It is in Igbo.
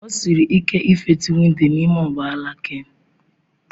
O siri ike ịfetu windo n'ime ụgbọ ala Ken.